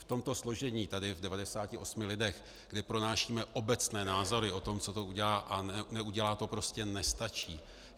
V tomto složení tady v 98 lidech, kdy pronášíme obecné názory o tom, co to udělá a neudělá, to prostě nestačí.